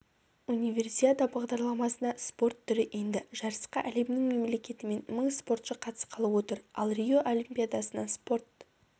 универсиада бағдарламасына спорт түрі енді жарысқа әлемнің мемлекетінен мың спортшы қатысқалы отыр ал рио олимпиадасына спорт